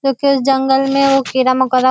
क्युकीं इस जंगल में वो कीड़ा मकोड़ा --